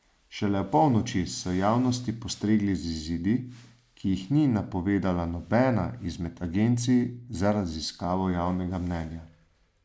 Šele opolnoči so javnosti postregli z izidi, ki jih ni napovedala nobena izmed agencij za raziskavo javnega mnenja.